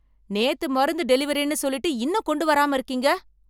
நேத்து மருந்து டெலிவரின்னு சொல்லிட்டு இன்னும் கொண்டு வராம இருக்கீங்க